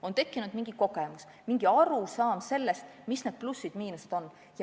On tekkinud mingi kogemus, mingi arusaam sellest, mis on plussid-miinused.